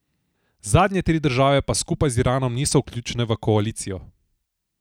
Zadnje tri države pa skupaj z Iranom niso vključene v koalicijo.